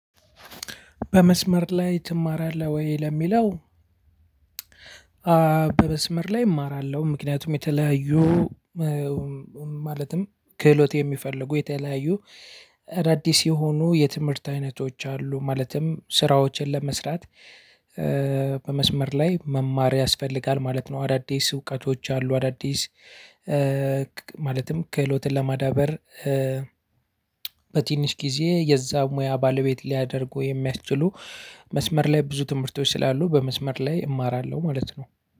በመስመር ላይ ትማራለህ ወይ ለሚለው? በመስመር ላይ እማራለሁ። ምክንያቱም የተለያዩ ማለትም ክህሎት የሚፈልጉ የተለያዩ አዳዲስ የሆኑ የትምህርት አይነቶች አሉ ማለትም ስራዎችን ለመስራት። በመስመር ላይ መማር ያስፈልጋል ማለት ነው። አዳዲስ እውቀቶች አሉ። አዳዲስ ማለትም ክህሎትን ለማዳበር። በትንሽ ጊዜ የዛ ሙያ ባለቤት ሊያደርጉ የሚያስችሉ መስመር ላይ ብዙ ትምህርቶች ስላሉ በመስመር ላይ እማራለሁ ማለት ነው።